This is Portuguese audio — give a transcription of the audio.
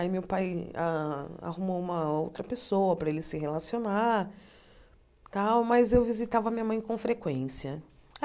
Aí meu pai arrumou uma outra pessoa para ele se relacionar e tal, mas eu visitava minha mãe com frequência.